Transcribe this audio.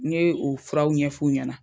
N ye o furaw ɲɛf'u ɲɛna.